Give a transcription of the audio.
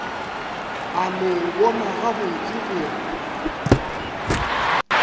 a no bona gabotse gore